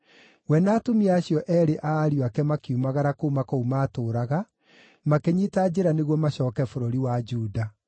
We na atumia acio eerĩ a ariũ ake makiumagara kuuma kũu maatũũraga, makĩnyiita njĩra nĩguo macooke bũrũri wa Juda.